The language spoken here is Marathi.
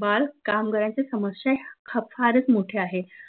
बाल कामगारांच्या समश्या ह्या फारच मोठ्या आहेत